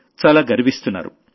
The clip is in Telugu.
చాలా గర్విస్తున్నారు